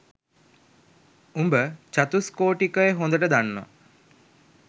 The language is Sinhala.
උඹ චතුස්කෝටිකය හොඳට දන්නවා